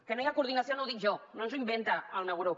que no hi ha coordinació no ho dic jo no s’ho inventa el meu grup